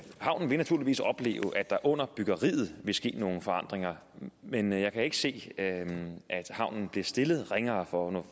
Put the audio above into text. havnen vil naturligvis opleve at der under byggeriet vil ske nogle forandringer men jeg kan ikke se at havnen bliver stillet ringere for nu